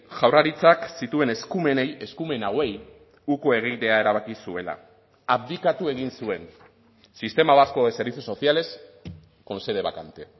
jaurlaritzak zituen eskumenei eskumen hauei uko egitea erabaki zuela abdikatu egin zuen sistema vasco de servicios sociales con sede vacante